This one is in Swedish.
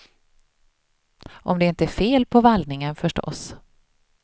Om det inte är fel på vallningen förstås.